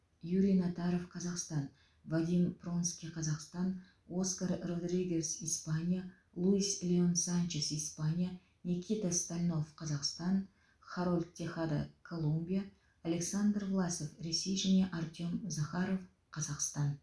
юрий натаров қазақстан вадим пронский қазақстан оскар родригес испания луис леон санчес испания никита стальнов қазақстан харольд техада колумбия александр власов ресей және артем захаров қазақстан